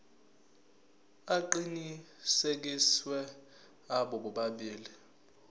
aqinisekisiwe abo bobabili